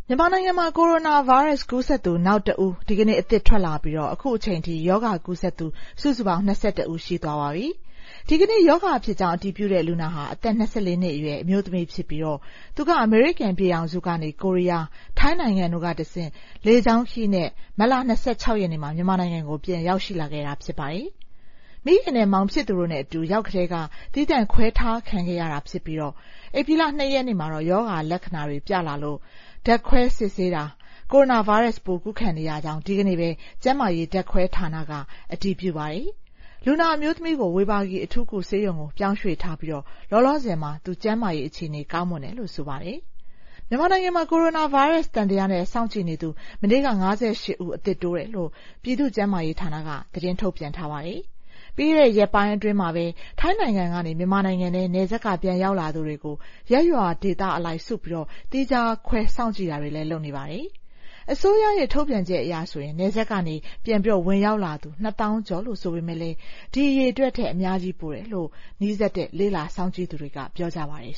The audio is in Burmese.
မြန်မာနိုင်ငံမှာ ကိုရိုနာဗိုင်းရပ်စ် ကူးစက်သူနောက်တဦး ဒီကနေ့ ထပ်ထွက်လာပြီး အခုချိန်အထိ ရောဂါကူးစက်သူ စုစုပေါင်း ၂၁ ဦး ရှိသွားပါပြီ။ ဒီကနေ့ ရောဂါဖြစ်ကြောင်း အတည်ပြုတဲ့လူနာဟာ အသက် ၂၄ နှစ်အရွယ် အမျိုးသမီးဖြစ်ပြီး သူက အမေရိကန်ပြည်ထောင်စုကနေ ကိုရီးယား၊ ထိုင်းနိုင်ငံတို့ကတဆင့် လေကြောင်းခရီးနဲ့ မတ် ၂၆ ရက်နေ့မှာ မြန်မာနိုင်ငံကို ပြန်ရောက်ရှိလာခဲ့တာ ဖြစ်ပါတယ်။ မိခင်နဲ့ မောင်ဖြစ်သူတို့နဲ့အတူ ရောက်ကတည်းက သီးသန့်ခွဲထားခံရတာဖြစ်ပြီး ဧပြီလ ၂ ရက်နေ့မှာ ရောဂါလက္ခဏာတွေပြလာလို့ ဓာတ်ခွဲစစ်ဆေးတာ ကိုရိုနာဗိုင်းရပ်စ် ကူးခံနေရကြောင်း ဒီကနေ့ပဲ ကျန်းမာရေးဓာတ်ခွဲမှုဌာနက အတည်ပြုပါတယ်။ လူနာအမျိုးသမီးကို ဝေဘာဂီအထူးကုဆေးရုံကို ပြောင်းရွှေ့ထားပြီး လောလောဆယ် ကျန်းမာရေးအခြေအနေ ကောင်းမွန်တယ်လို့ ဆိုပါတယ်။ မြန်မာနိုင်ငံမှာ ကိုရိုနာဗိုင်းရပ်စ်သံသယနဲ့ စောင့်ကြည့်နေသူ မနေ့က ၅၈ ဦး အသစ်တိုးတယ်လို့ ပြည်သူ့ကျန်းမာရေးဌာနက သတင်းထုတ်ပြန်ထားပါတယ်။ ပြီးခဲ့တဲ့ရက်ပိုင်းအတွင်းမှာပဲ ထိုင်းနိုင်ငံကနေ မြန်မာနိုင်ငံထဲ နယ်စပ်က ပြန်ရောက်လာသူတွေကို ရပ်ရွာဒေသအလိုက် စုပြီး သီးခြားခွဲ စောင့်ကြည့်တာတွေ လုပ်နေပါတယ်။ အစိုးရရဲ့ ထုတ်ပြန်ချက်အရဆိုရင် နယ်စပ်ကနေ ပြန်ဝင်ရောက်လာသူ ၂ သောင်းကျော်လို့ ဆိုပေမယ့် ဒီအရေအတွက်ထက် အများကြီးပိုတယ်လို့ လေ့လာစောင့်ကြည့်သူတွေက ပြောနေကြပါတယ်